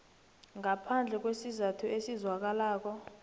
ngaphandle kwesizathu esizwakalako